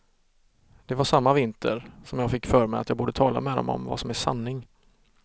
Det var samma vinter, som jag fick för mig att jag borde tala med dom om vad som är sanning.